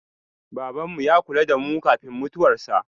Babanmu ya kula da mu kafin mutuwarsa.